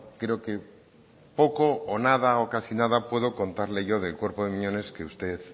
creo que poco o nada o casi nada puedo contarle yo del cuerpo de miñones que usted